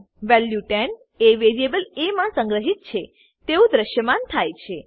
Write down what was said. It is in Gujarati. વેલ્યુ 10 એ વેરીએબલ એ મા સંગ્રહિત છે તેવું દ્રશ્યમાન થાય છે